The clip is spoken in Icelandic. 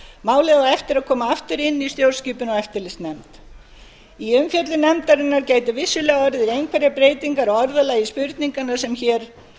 málið á eftir að koma aftur inn í stjórnskipunar og eftirlitsnefnd í umfjöllun nefndarinnar gæti vissulega orðið einhverjar breytingar á orðalagi spurninganna sem hér